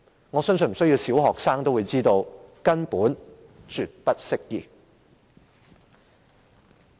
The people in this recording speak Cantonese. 我相信小學生也知道這根本是絕不適用的。